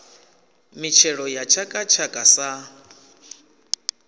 mitshelo ya tshaka tshaka sa